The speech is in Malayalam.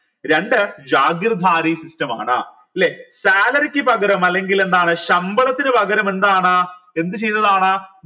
രണ്ട് system ആണ് ല്ലെ salary ക്ക് പകരം അല്ലെങ്കിൽ എന്താണ് ശമ്പളത്തിന് പകരം എന്താണ് എന്തു ചെയ്തതാണ്